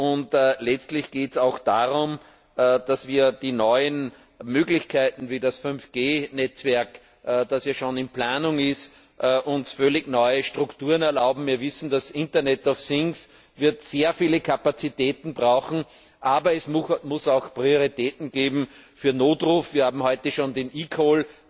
Und letztlich geht es auch darum, dass uns die neuen Möglichkeiten wie das 5G Netzwerk, das ja schon in Planung ist, völlig neue Strukturen erlauben. Wir wissen, das Internet of things wird sehr viele Kapazitäten brauchen, aber es muss auch Prioritäten geben für den Notruf wir haben heute schon den eCall